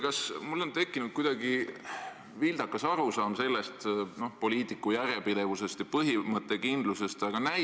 Kas mul on tekkinud kuidagi vildakas arusaam poliitika järjepidevusest ja põhimõttekindlusest?